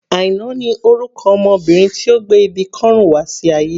Aina ni orúkọ ọmọ Obìnrin tí ó gbé ibi kọ́rùn wá sí ayé.